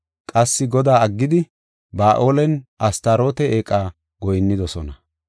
Qassi Godaa aggidi, Ba7aalenne Astaroote eeqa goyinnidosona.